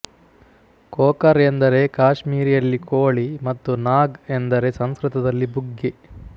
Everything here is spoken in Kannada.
ಕೋಕರ್ ಎಂದರೆ ಕಾಶ್ಮೀರಿಯಲ್ಲಿ ಕೋಳಿ ಮತ್ತು ನಾಗ್ ಎಂದರೆ ಸಂಸ್ಕೃತದಲ್ಲಿ ಬುಗ್ಗೆ